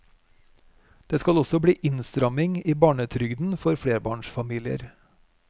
Det skal også bli innstramning i barnetrygden for flerbarnsfamilier.